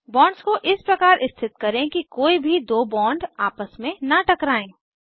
bonds को इस प्रकार स्थित करें कि कोई भी दो बॉन्ड आपस में न टकराएं